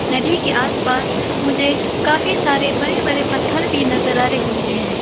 नदी के आसपास मुझे काफी सारे बड़े बड़े पत्थर भी नजर आ रही है।